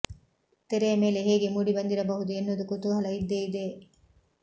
ತೆರೆಯ ಮೇಲೆ ಹೇಗೆ ಮೂಡಿ ಬಂದಿರಬಹುದು ಎನ್ನುವುದು ಕುತೂಹಲ ಇದ್ದೇ ಇದೆ